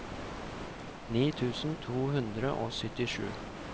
ni tusen to hundre og syttisju